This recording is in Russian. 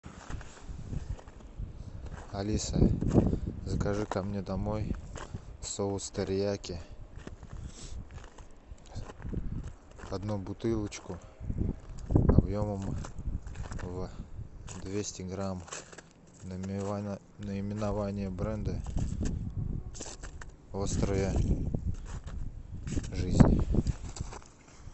алиса закажи ко мне домой соус терияки одну бутылочку объемом двести грамм наименование бренда острая жизнь